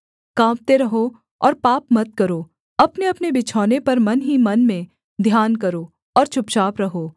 काँपते रहो और पाप मत करो अपनेअपने बिछौने पर मन ही मन में ध्यान करो और चुपचाप रहो सेला